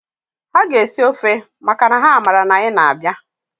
Ha ga-esi ọfe makana ha mara na anyị na-abịa.